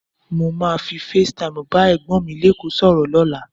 Mo máa fi Face Time bá Ẹ̀gbọ́n mi lékòó sọ̀rọ̀ lọ́la.